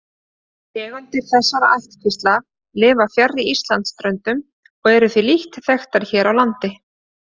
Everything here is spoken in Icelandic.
Tegundir þessara ættkvísla lifa fjarri Íslandsströndum og eru því lítt þekktar hér á landi.